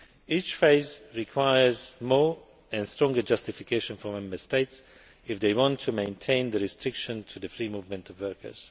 Each phase requires more and stronger justification from Member States if they want to maintain the restriction to the free movement of workers.